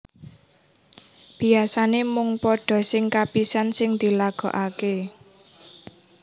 Biasané mung pada sing kapisan sing dilagokaké